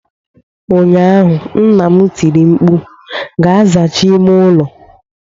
ụnyaahụ, nna m tiri mkpu, "Gaa zachaa ime ụlọ !"